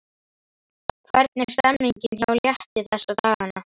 Hvernig er stemningin hjá Létti þessa dagana?